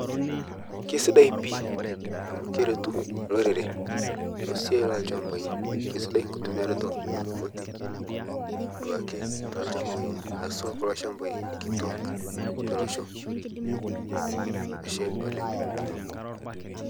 keisidai pii amu keretu lorere to siai lochampai keisidai nkutumiaroto ooroboti duake telchampai haswa kuloo champai kituak te losho ashe oleng